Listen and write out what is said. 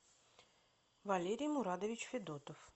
валерий мурадович федотов